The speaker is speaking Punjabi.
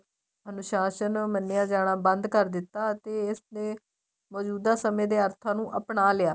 ਅਨੁਸ਼ਾਸਨ ਮੰਨਿਆ ਜਾਣਾ ਬੰਦ ਕਰ ਦਿੱਤਾ ਅਤੇ ਇਸ ਦੇ ਮੋਜੂਦਾ ਸਮੇਂ ਦੇ ਅਰਥਾਂ ਨੂੰ ਅਪਣਾ ਲਿਆ